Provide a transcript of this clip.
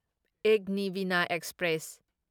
ꯑꯦꯒꯅꯤꯚꯤꯅ express